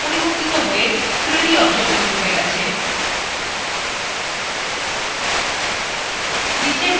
দেখুন বৃত্তthe পরিবর্তিত হয়ে 3d object হয়ে গেছে